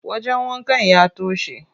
Wajen wankan ya toshe.